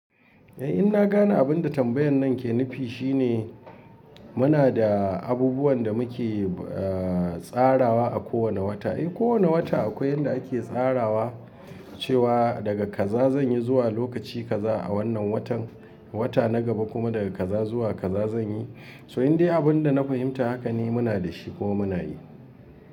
Eh, in na gane abin da tambayan nan ke nufi shine muna da abubuwan da muke, eh, tsarawa a kowane wata. Eh, kowane wata akwai yanda ake tsarawa cewa daga kaza zan yi zuwa lokaci kaza a wannan watan, wata na gaba kuma daga kaza zuwa kaza zan yi. So in dai abin da na fahimta haka ne muna da shi ko muna yi.